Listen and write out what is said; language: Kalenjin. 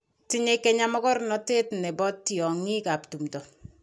Tinyei kenya mokornotee ne bo tiongii ab tumin.